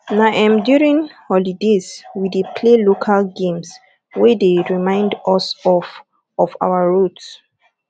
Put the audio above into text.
na um during holidays we dey play local games wey dey remind us of of our roots